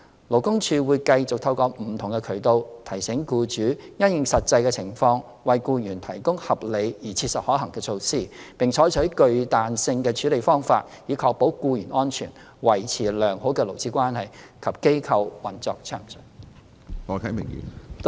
勞工處會繼續透過不同渠道，提醒僱主因應實際的情況為僱員提供合理而切實可行的措施，並採納具彈性的處理方法，以確保僱員安全、維持良好的勞資關係及機構運作順暢。